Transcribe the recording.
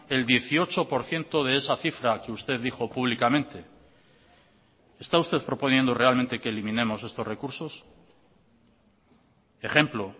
el dieciocho por ciento de esa cifra que usted dijo públicamente está usted proponiendo realmente que eliminemos estos recursos ejemplo